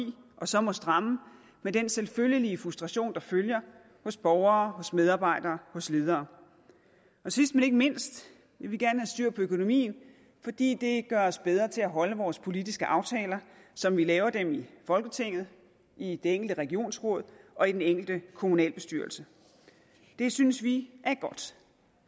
og så måtte stramme med den selvfølgelige frustration der følger hos borgere hos medarbejdere hos ledere sidst men ikke mindst vil vi gerne have styr på økonomien fordi det gør os bedre til at holde vores politiske aftaler som vi laver dem i folketinget i det enkelte regionsråd og i den enkelte kommunalbestyrelse det synes vi